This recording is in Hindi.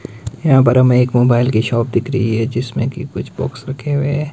यहां पर हमे एक मोबाइल की शॉप दिख रही है जिसमें की कुछ बॉक्स रखे हुए हैं।